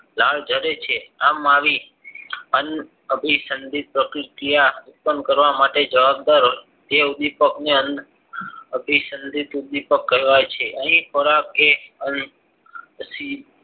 લાલ જયારે છે આમ આવી અન અભિસંદિત પ્રતિક્રિયા ઉત્પન્ન કરવા માટે જવાબદાર જે ઉદ્વિપકને અભિસંદિત ઉદ્વિપક કહેવાય છે અહીં ખોરાક કે